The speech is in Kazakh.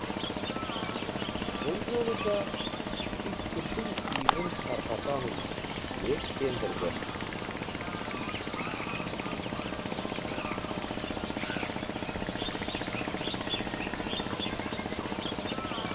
бұл жолы да түйткілдің түйінін тарқатамыз деп сендірді